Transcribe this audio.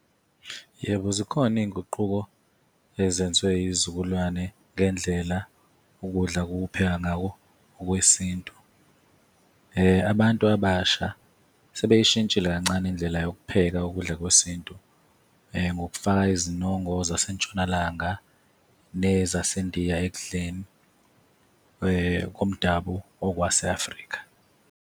Yebo, zikhona iy'nguquko ezenziwe yiy'zukulwane ngendlela ukudla okuphekeka ngako okwesintu. Abantu abasha sebeyishintshile kancane indlela yokupheka ukudla kwesintu, ngokufaka izinongo zaseNtshonalanga nezaseNdiya ekudleni komdabu okwase-Afrika